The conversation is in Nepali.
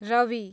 रवि